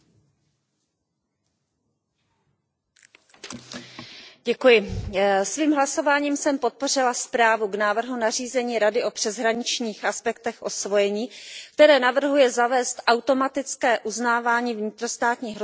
Paní předsedající, svým hlasováním jsem podpořila zprávu o návrhu nařízení Rady o přeshraničních aspektech osvojení, které navrhuje zavést automatické uznávání vnitrostátních rozhodnutí o osvojení vydaných v jednom členském státě